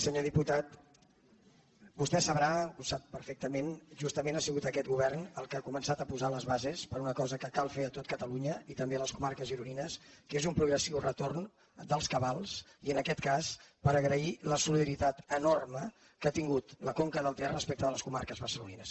senyor diputat vostè deu saber ho sap perfectament que justament ha sigut aquest govern el que ha començat a posar les bases per a una cosa que cal fer a tot catalunya i també a les comarques gironines que és un progressiu retorn dels cabals i en aquest cas per agrair la solidaritat enorme que ha tingut la conca del ter respecte de les comarques barcelonines